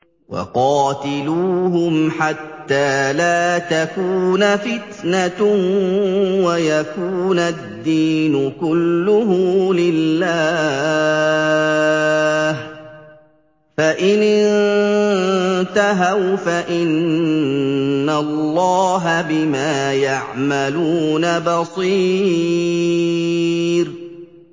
وَقَاتِلُوهُمْ حَتَّىٰ لَا تَكُونَ فِتْنَةٌ وَيَكُونَ الدِّينُ كُلُّهُ لِلَّهِ ۚ فَإِنِ انتَهَوْا فَإِنَّ اللَّهَ بِمَا يَعْمَلُونَ بَصِيرٌ